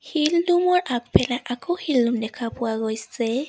শিল দ'মৰ আগফালে আকৌ দেখা পোৱা গৈছে।